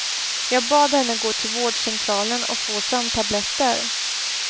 Jag bad henne gå till vårdcentralen och få sömntabletter.